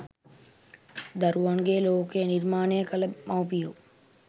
දරුවන්ගේ ලෝකය නිර්මාණය කළ මව්පියෝ